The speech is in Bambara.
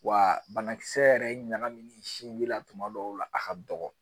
Wa banakisɛ yɛrɛ ɲanamini sinji la tuma dɔw la a ka dɔgɔ